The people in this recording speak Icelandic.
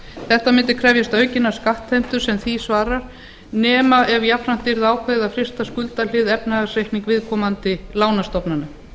þetta mundi krefjast aukinnar skattheimtu sem því svarar nema ef jafnframt yrði ákveðið að frysta skuldahlið efnahagsreiknings viðkomandi lánastofnana